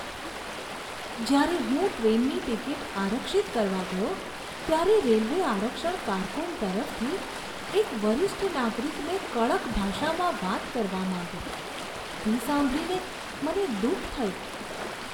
જ્યારે હું ટ્રેનની ટિકિટ આરક્ષિત કરવા ગયો ત્યારે રેલવે આરક્ષણ કારકુન તરફથી એક વરિષ્ઠ નાગરિકને કડક ભાષામાં વાત કરવામાં આવી તે સાંભળીને મને દુઃખ થયું.